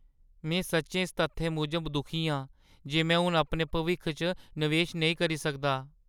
में सच्चैं इस तत्थै मूजब दुखी आं जे में हून अपने भविक्ख च नवेश नेईं करी सकदा।